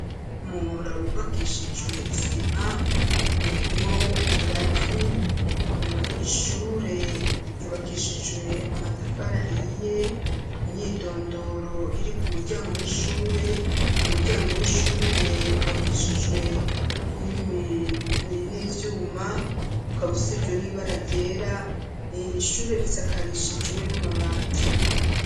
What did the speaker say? Umuhora wubakishijwe isima urinwo ingazi ishure yubakishijwe amatafari ahiye imyidondoro iri ku muryango w'ishure. Umuryango w'ishure ubakishijwe n'ibyuma ukaba usizwe n'ibara ryera ishure risakarishijwe n'amabati.